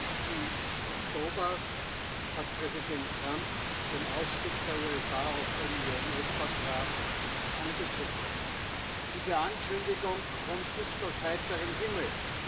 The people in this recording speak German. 20. Oktober hat Präsident Trump den Ausstieg der USA aus dem INF Vertrag angekündigt. Diese Ankündigung kommt nicht aus heiterem Himmel.